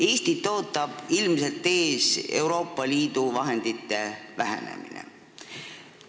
Eestit ootab ilmselt ees Euroopa Liidu vahendite vähenemine.